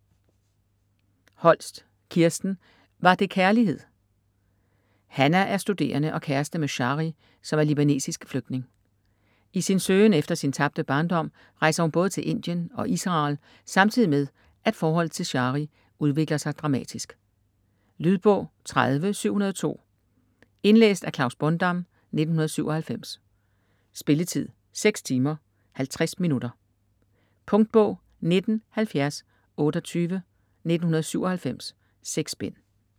Holst, Kirsten: Var det kærlighed Hannah er studerende og kæreste med Shari, som er libanesisk flygtning. I sin søgen efter sin tabte barndom rejser hun både til Indien og Israel samtidig med, at forholdet til Shari udvikler sig dramatisk. Lydbog 30702 Indlæst af Klaus Bondam, 1997. Spilletid: 6 timer, 50 minutter. Punktbog 197028 1997. 6 bind.